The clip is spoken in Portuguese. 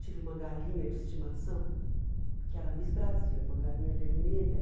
Tive uma galinha de estimação, que era a Miss Brasil, uma galinha vermelha.